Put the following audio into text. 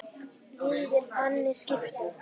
Liðið er þannig skipað